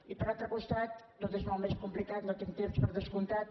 i per altre costat tot és molt més complicat no tinc temps per descomptat